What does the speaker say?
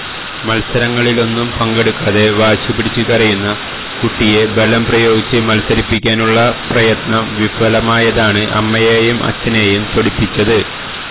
മത്സരങ്ങളിലൊന്നും പങ്കെടുക്കാതെ വാശി പിടിച്ചുകരയുന്ന കുട്ടിയെ ബലം പ്രയോഗിച്ച് മത്സരിപ്പിക്കാനുള്ള പ്രയത്നം വിഫലമായതാണ് അമ്മയെയും അച്ഛനെയും ചൊടിപ്പിച്ചത്